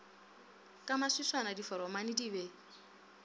ka maswiswana diforomane di be